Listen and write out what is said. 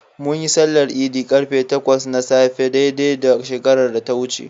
Munyi sallar Idi ƙarfe takwas na safe dai dai shekarar da ta wuce.